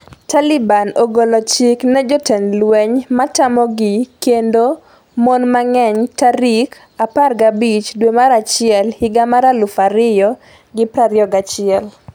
Taliban ogolo chik ne jotend lweny matamogi kendo mon mang'eny tarik 15 dwe mar achiel higa mar 2021